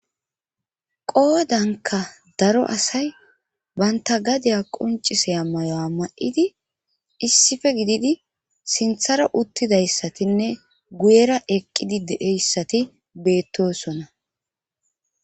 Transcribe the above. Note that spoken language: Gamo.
qoodanka daro asay banta gadiya qoncise a mayo7a ma7idi issife gididi sinthara uttidayssatinne guyera eqqidi deeyssati beettosona